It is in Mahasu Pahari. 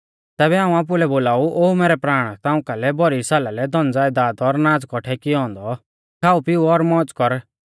तैबै हाऊं आपुलै लै बोलाऊ ओ मैरै प्राण ताऊं कालै भौरी साला लै धनज़यदाद और नाज़ कौठै कियौ औन्दौ खाऊपिऊ और मौज़ कर